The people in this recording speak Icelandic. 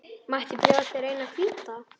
Mætti bjóða þér eina hvíta.